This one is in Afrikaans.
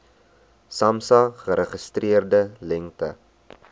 samsa geregistreerde lengte